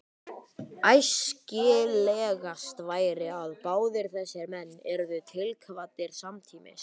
Æskilegast væri, að báðir þessir menn yrðu tilkvaddir samtímis.